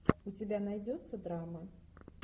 у тебя найдется драма